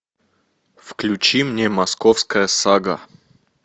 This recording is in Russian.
включи мне московская сага